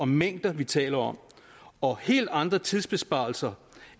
mængder vi taler om og helt andre tidsbesparelser